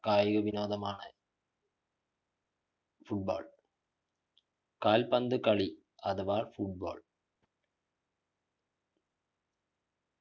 ആയതിനുമാണ് football കാൽപന്ത് കാളി അഥവാ football